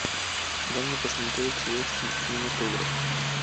дай мне посмотреть советский кинематограф